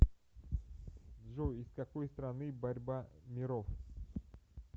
джой из какой страны борьба миров